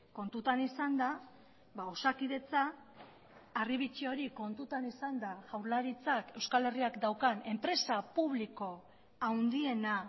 kontutan izanda osakidetza harri bitxi hori kontutan izanda jaurlaritzak euskal herriak daukan enpresa publiko handiena